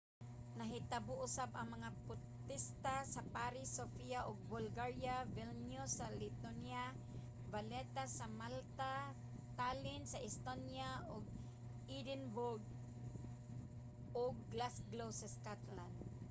nahitabo usab ang mga potesta sa paris sofia sa bulgaria vilnius sa lithuania valetta sa malta tallinn sa estonia ug edinburgh ug glasgow sa scotland